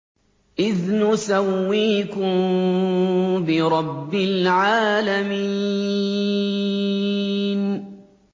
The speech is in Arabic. إِذْ نُسَوِّيكُم بِرَبِّ الْعَالَمِينَ